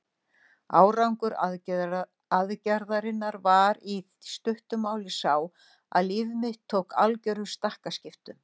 Árangur aðgerðarinnar var í stuttu máli sá, að líf mitt tók algerum stakkaskiptum.